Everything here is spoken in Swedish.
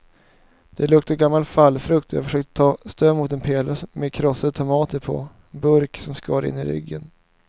Det luktade gammal fallfrukt och jag försökte ta stöd mot en pelare med krossade tomater på burk som skar in i ryggen.